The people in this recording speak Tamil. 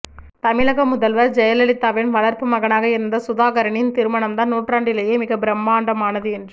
தமிழக முதல்வர் ஜெயலலிதாவின் வளர்ப்பு மகனாக இருந்த சுதாகரனின் திருமணம்தான் நூற்றாண்டிலேயே மிக பிரமாண்டமானது என்று